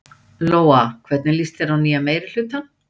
Lóa: Hvernig líst þér á nýja meirihlutann?